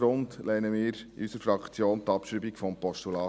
Imboden hat es auch schon gesagt.